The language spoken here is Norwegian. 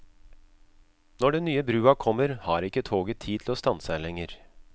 Når den nye brua kommer, har ikke toget tid til å stanse her lenger.